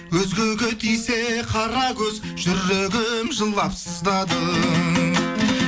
өзгеге тисе қара көз жүрегім жылап сыздады